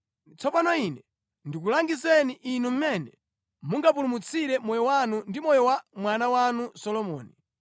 Tsopano ine ndikulangizeni inu mmene mungapulumutsire moyo wanu ndi moyo wa mwana wanu Solomoni.